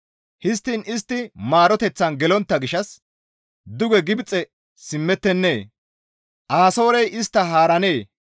«Histtiin istti maaroteththan gelontta gishshas duge Gibxe simmettennee? Asoorey istta haarennee?